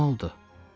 Nə oldu?